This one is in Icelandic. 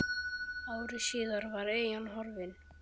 Ári síðar var eyjan horfin.